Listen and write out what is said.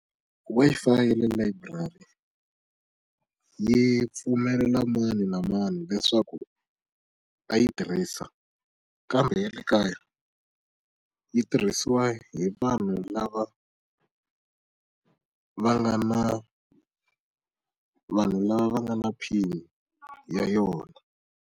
Wi-Fi ya le layiburari, yi pfumelela mani na mani leswaku a yi tirhisa. Kambe ya le kaya, yi tirhisiwa hi vanhu lava va nga na vanhu lava va nga na PIN-i ya yona.